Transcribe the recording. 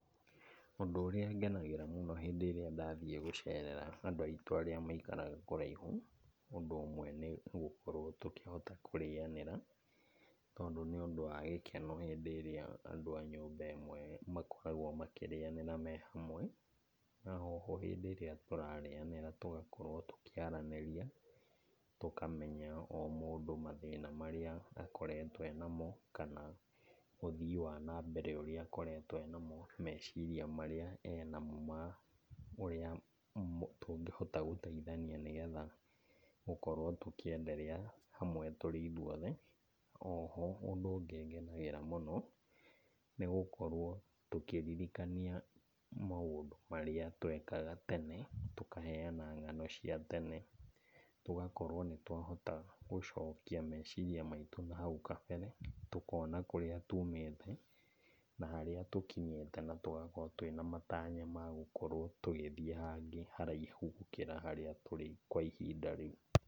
Ũndũ ũrĩa ngenagĩra mũno hĩndĩ ĩrĩa ndathiĩ gũcerera andũ aitũ arĩa maikaraga kũraihu, ũndũ ũmwe nĩ gũkorwo tũkĩhota kũrĩanĩra, tondũ nĩ undũ wa gĩkeno hĩndĩ ĩrĩa andũ a nyũmba ĩmwe makoragwo makĩrĩanĩra me hamwe. Na oho hĩndĩ ĩrĩa tũrarĩanĩra tũgakorwo tũkĩaranĩria, tũkamenya o mũndũ mathĩna marĩa akoretwo e namo kana ũthii wa na mbere ũrĩa akoretwo enamo, meciria marĩa enamo ma ũrĩa tũngĩhota gũteithania nĩgetha gũkorwo tũkĩenderea hamwe tũrĩ ithuothe. O ho ũndũ ũngĩ ngenagĩra mũno, nĩgũkorwo tũkĩririkanania maũndu marĩa twekaga tene. tũkaheana ng'ano cia tene, tũgakorwo nĩ twahota gũcokia meciria maitũ na hau kabere, tũkona kũrĩa tuumĩte na harĩa tũkinyĩte, na tũgakorwo twĩna matanya ma gũkorwo tũgĩthiĩ haraihu gũkĩra harĩa tũrĩ kwa ihinda rĩu.